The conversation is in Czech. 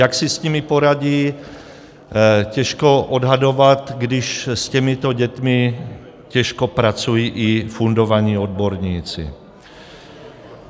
Jak si s nimi poradí, těžko odhadovat, když s těmito dětmi těžko pracují i fundovaní odborníci.